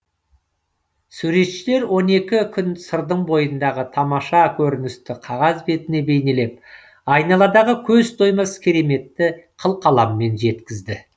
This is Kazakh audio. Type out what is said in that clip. суретшілер он екі күн сырдың бойындағы тамаша көріністі қағаз бетіне бейнелеп айналадағы көз тоймас кереметті қылқаламмен жеткізді